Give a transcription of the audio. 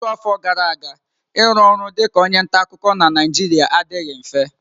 Ọtụtụ afọ gara aga, ịrụ ọrụ dị ka onye nta akụkọ na Naijiria adịghị mfe.